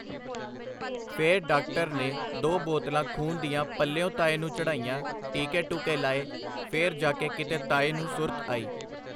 ਫੇਰ ਡਾਕਟਰ ਨੇ ਦੋ ਬੋਤਲਾ ਖੂਨ ਦੀਆਂ ਪੱਲਿਓ ਤਾਏ ਨੂੰ ਚੜਾਈਆ ਟੀਕੇ ਟੁਕੇ ਲਾਏ ਫੇਰ ਜਾਕੇ ਕੀਤੇ ਤਾਏ ਨੂੰ ਸੁਰਤ ਆਈ.